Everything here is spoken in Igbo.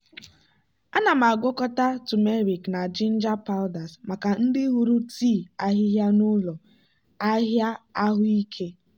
ana m agwakọta turmeric na ginger powders maka ndị hụrụ tii ahịhịa n'ụlọ ahịa ahụike.